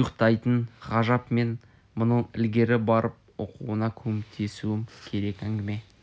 ұйықтайтын ғажап мен мұнын ілгері барып оқуына көмектесуім керек әңгіме